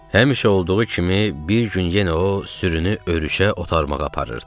Həmişə olduğu kimi bir gün yenə o sürünü örüşə otarmağa aparırdı.